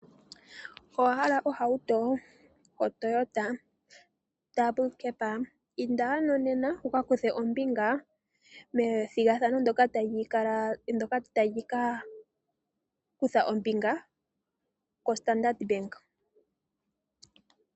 Owahala ohauto yoToyota yoondunda mbali? Inda nena wu ka kuthe ombinga methigathano ndoka tali ka kutha ombinga koStandard bank .